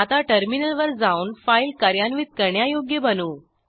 आता टर्मिनलवर जाऊन फाईल कार्यान्वित करण्यायोग्य बनवू